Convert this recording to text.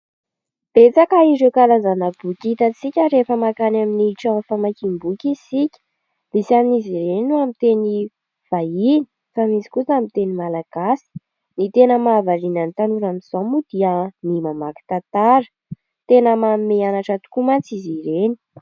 Betsaka ireo karazana boky hitantsika rehefa mankany amin'ny trano famakiam-boky isika, isan'izy ireny amin'ny teny vahiny fa misy kosa amin'ny teny Malagasy. Ny tena mahavariana ny tanora amin'izao moa dia ny mamaky tantara; tena manome hanatra tokoa mantsy izy ireny.